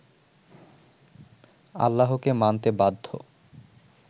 আল্লাহকে মানতে বাধ্য